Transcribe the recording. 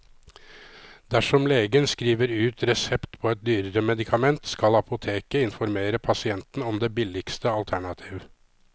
Dersom legen skriver ut resept på et dyrere medikament, skal apoteket informere pasienten om det billigste alternativ.